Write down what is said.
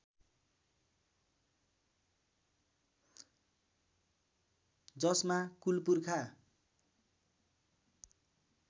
जसमा कुल पुर्खा